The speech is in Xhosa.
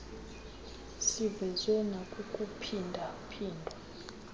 sivezwe nakukuphinda phindwa